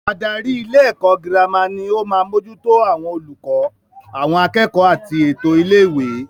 Adarí ilé ẹ̀kọ́ girama ni o maá mójútó àwọn olùkọ́, àwọn akẹ́kọ̀ọ́ àti ètò ilé ìwé